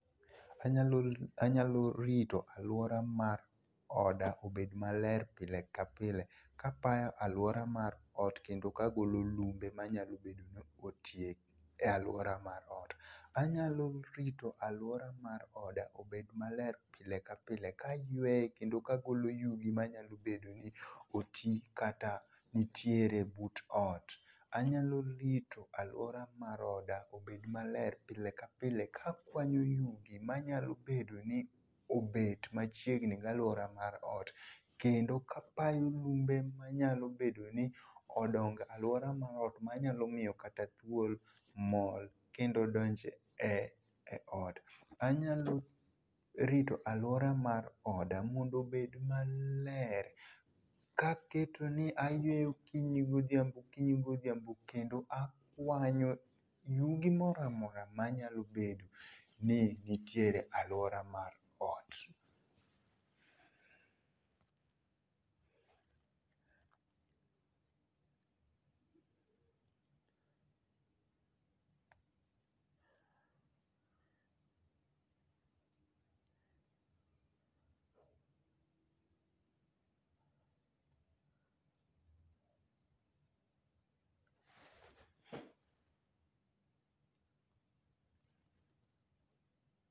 Anyalo, anyalo rito aluora mar oda obed maler pile ka pile kapayo aluora mar ot kendo kagolo lumbe manyalo bedo ni otie e aluora mar ot. Anyalo rito aluora mar oda obed maler pile kapile kayueye kendo kagolo yugi manyalo bedo ni oti kata nitiere but ot. Anyalo rito aluora mar oda obed maler pile kapile kakwanyo yugi manyalo bedo ni obet machiegni galuora mar ot kendo kapayo lumbe manyalo bedoni odongo e aluora mar ot manyalo miyo kata thuol mol kendo donj e eot. Anyalo rito aluora mar oda mondo obed maleer kaketo ni ayueye okinyi godhiambo okinyi godhiambo kendo akuanyo yugi moro amora manyalo bedo ni nitiere e aluora mar ot.